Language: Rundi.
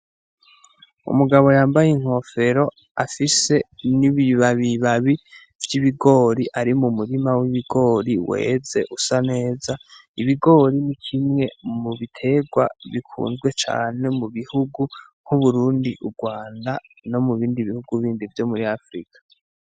Umugabo yambaye inkofero afise n'ibibabibabi vy'ibigori ari mu murima w'ibigori weze usa neza, ibigori ni kimwe mu biterwa bikunzwe cane mu bihugu nk'Uburundi, Urwanda no mubindi bihugu bindi vyo muri Afirika.